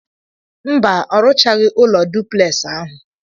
Mba, ọ ruchaghị ụlọ duplex ahụ.